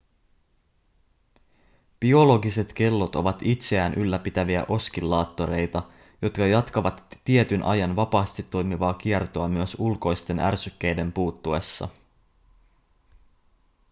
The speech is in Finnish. biologiset kellot ovat itseään ylläpitäviä oskillaattoreita jotka jatkavat tietyn ajan vapaasti toimivaa kiertoa myös ulkoisten ärsykkeiden puuttuessa